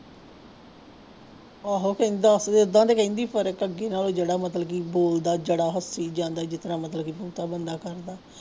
ਆਹੋ ਕਹਿੰਦਾ ਸੀ ਏਦਾਂ ਤਾਂ ਕਹਿੰਦੀ ਫ਼ਰਕ ਅੱਗੇ ਨਾਲੋਂ ਜਿਹੜਾ ਮਤਲਬ ਕਿ ਬੋਲਦਾ ਜਿਹੜਾ ਹੱਸੀ ਜਾਂਦਾ ਜਿਸ ਤਰ੍ਹਾਂ ਮਤਲਬ ਬੰਦਾ ਕਰਦਾ।